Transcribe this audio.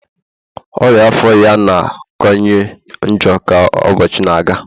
ọria afọ ya na-akawanye njọ ka ụbọchị na-aga